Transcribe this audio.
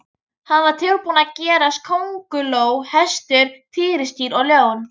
Hann var tilbúinn að gerast kónguló, hestur, tígrisdýr og ljón.